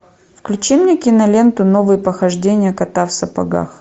включи мне киноленту новые похождения кота в сапогах